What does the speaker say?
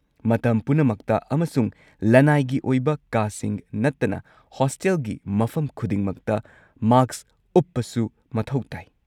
ꯃꯇꯝ ꯄꯨꯝꯅꯃꯛꯇ ꯑꯃꯁꯨꯡ ꯂꯅꯥꯏꯒꯤ ꯑꯣꯏꯕ ꯀꯥꯁꯤꯡ ꯅꯠꯇꯅ ꯍꯣꯁꯇꯦꯜꯒꯤ ꯃꯐꯝ ꯈꯨꯗꯤꯡꯃꯛꯇ ꯃꯥꯁꯛ ꯎꯞꯄꯁꯨ ꯃꯊꯧ ꯇꯥꯏ꯫